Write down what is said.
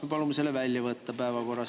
Me palume selle päevakorrast välja võtta.